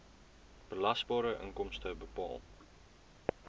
belasbare inkomste bepaal